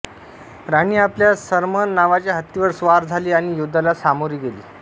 राणी आपल्या सरमन नावाच्या हत्तीवर स्वार झाली आणि युद्धाला सामोरी गेली